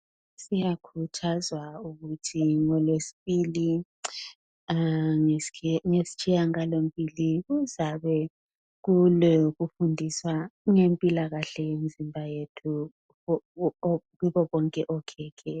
Siyakhuthazwa ukuthi ngolwesibili ngestshiyagalombili kuzabe kulokufundiswa ngempilakahle yemizimba yethu kubobonke okhekhe